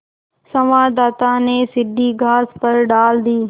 संवाददाता ने सीढ़ी घास पर डाल दी